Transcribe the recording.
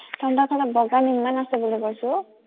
তহঁতৰ চাইডত বগান ইমান আছে বুলি কৈছো